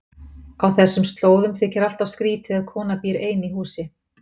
Á þessum slóðum þykir alltaf skrýtið ef kona býr ein í húsi.